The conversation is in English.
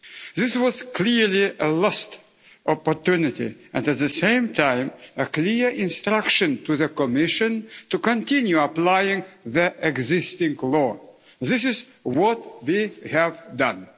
This was clearly a lost opportunity and at the same time a clear instruction to the Commission to continue applying the existing law. This is what we have done.